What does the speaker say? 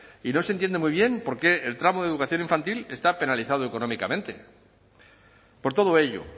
y no se entiende muy bien por qué el tramo de educación infantil está penalizado económicamente por todo ello